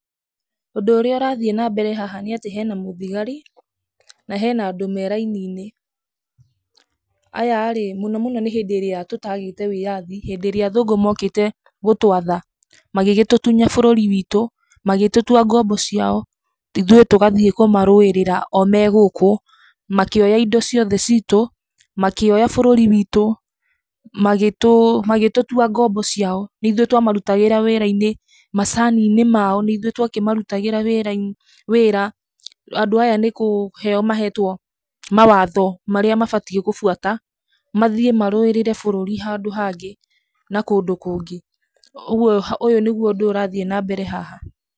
Ũndũ ũrĩa ũrathiĩ na mbere haha nĩ atĩ hena mũthigari na hena andũ me raini-inĩ. Aya rĩ, mũno mũno nĩ hĩndĩ ĩrĩa tũtagĩte wĩyathi hĩndĩ ĩrĩa athũngũ mokĩte gũtwatha, magĩgĩtũtunya bũrũri witũ, magĩtũtua ngombo ciao, ithuĩ tũgathiĩ kũmarũĩra o me gũkũ, makĩoya indo ciothe citũ, makĩoya bũrũri witũ, magĩtũtua ngombo ciao, nĩ ithuĩ twamarutagĩra wĩra-inĩ macini-inĩ mao, nĩ ithuĩ twamarutagĩra wĩra, andũ aya nĩ kũheo mahetwo mawatho marĩa mabatie gũbuata mathiĩ marũĩrĩre bũrũri handũ hangĩ na kũndũ kũngĩ. Ũguo ũyũ nĩguo ũndũ ũrĩa ũrathiĩ na mbere haha.